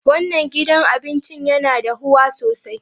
Wannan gidan abincin yana dahuwa sosai.